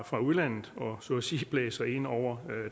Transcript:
fra udlandet og så at sige blæser ind over